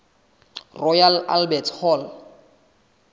royal albert hall